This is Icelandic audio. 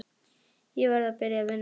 Ég verð að byrja að vinna.